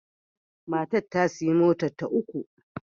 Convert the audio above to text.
Matar ta sayi motarta ta uku.